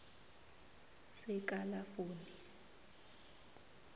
sekalafoni